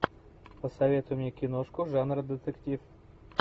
посоветуй мне киношку жанра детектив